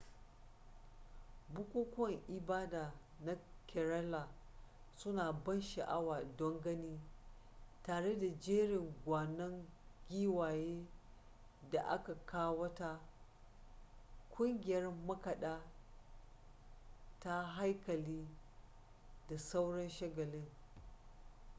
bukukuwan ibada na kerala suna da ban sha'awa don gani tare da jerin gwanon giwaye da aka kawata ƙungiyar makaɗa ta haikali da sauran shagalin